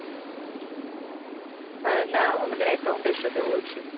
হ্যাঁ না আমাদের account এর সাথে বলছি